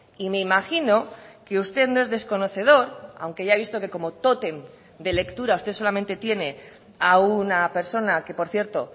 y me imagino que usted no es desconocedor aunque ya he visto que como tótem de lectura usted solamente tiene a una persona que por cierto